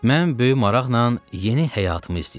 Mən böyük maraqla yeni həyatımı izləyirdim.